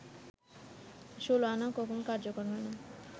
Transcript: ষোলআনা কখনও কার্যকর হয় না